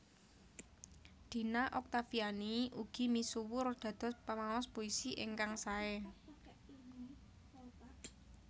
Dina Oktaviani ugi misuwur dados pamaos puisi ingkang saé